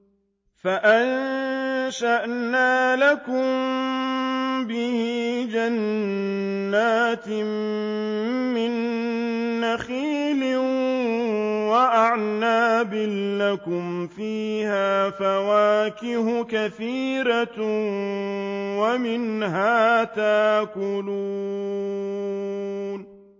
فَأَنشَأْنَا لَكُم بِهِ جَنَّاتٍ مِّن نَّخِيلٍ وَأَعْنَابٍ لَّكُمْ فِيهَا فَوَاكِهُ كَثِيرَةٌ وَمِنْهَا تَأْكُلُونَ